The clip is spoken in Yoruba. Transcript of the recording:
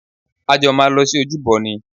A jọ máa lọ sí ojúbọ ni